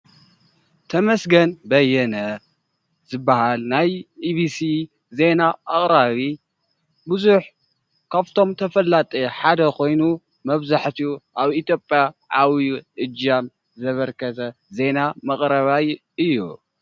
ተመስገን በየነ ዝብሃል ናይ ኢቢሲ ዜና ኣቅራቢ ብዙሕ ካብቶም ተፈላጢ ሓደ ኮይኑ መብዛሕቲኡ ኣብ ኢትዮጰያ ኣብዩ እጃም ዘበርከተ ዜና መቅረባይ እዩ።